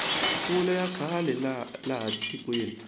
mpfula ya kala laha tikweni